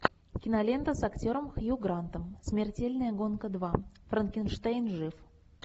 кинолента с актером хью грантом смертельная гонка два франкенштейн жив